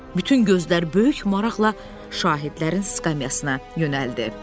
Bütün gözlər böyük maraqla şahidlərin skamyasına yönəldi.